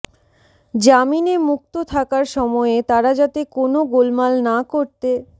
জামিনে মুক্ত থাকার সময়ে তারা যাতে কোনও গোলমাল না করতে